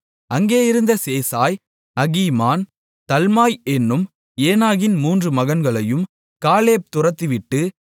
அங்கேயிருந்த சேசாய் அகீமான் தல்மாய் என்னும் ஏனாக்கின் மூன்று மகன்களையும் காலேப் துரத்திவிட்டு